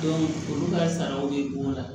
olu ka saraw bɛ don o la